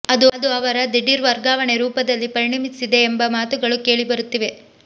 ಅದು ಅವರ ದಿಢೀರ್ ವರ್ಗಾವಣೆ ರೂಪದಲ್ಲಿ ಪರಿಣಮಿಸಿದೆ ಎಂಬ ಮಾತುಗಳು ಕೇಳಿಬರುತ್ತಿವೆ